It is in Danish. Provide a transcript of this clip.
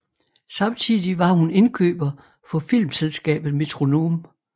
Samtidig var hun indkøber for filmselskabet Metronome